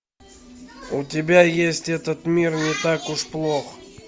у тебя есть этот мир не так уж плох